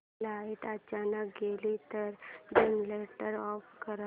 light अचानक गेली तर जनरेटर ऑफ कर